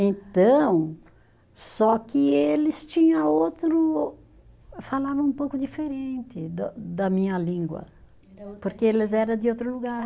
Então, só que eles tinha outro, falavam um pouco diferente do da minha língua, porque eles eram de outro lugar.